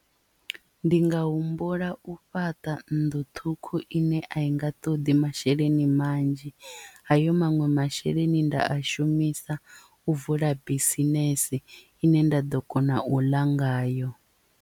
Ndi nga humbula u fhaṱa nnḓu ṱhukhu ine a i nga ṱoḓi masheleni manzhi hayo maṅwe masheleni nda a shumisa u vula bisinese ine nda ḓo kona u ḽa ngayo.